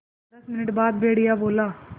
दस मिनट बाद भेड़िया बोला